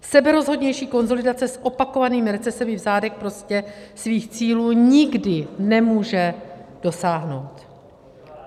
Seberozhodnější konsolidace s opakovanými recesemi v zádech prostě svých cílů nikdy nemůže dosáhnout.